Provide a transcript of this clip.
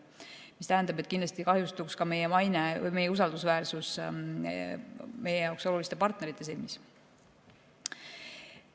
See tähendab, et kindlasti kahjustuks ka meie maine või meie usaldusväärsus meie jaoks oluliste partnerite silmis.